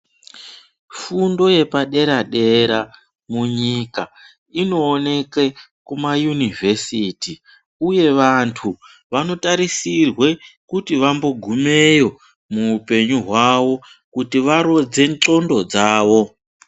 Fundo yepadera dera munyika inoonekwe kumayunivhesiti uye vandu vanotarisirwe kuti vambogumeyo muhupenyu hwawo kuti varodze ndxondo dzavo.